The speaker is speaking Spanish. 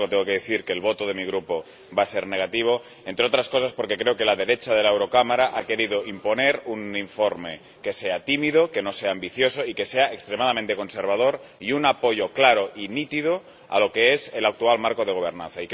Sin embargo, tengo que decir que el voto de mi Grupo va a ser negativo, entre otras cosas porque creo que la derecha de este Parlamento ha querido imponer un informe que sea tímido, que no sea ambicioso y que sea extremadamente conservador, y un apoyo claro y nítido a lo que es el actual marco de gobernanza.